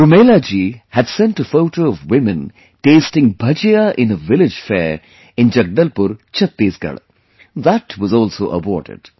Rumelaji had sent a photo of women tasting Bhajiya in a village fair in Jagdalpur, Chhattisgarh that was also awarded